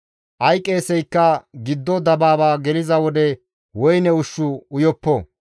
Ay qeeseykka giddo dabaaba geliza wode woyne ushshu uyoppo.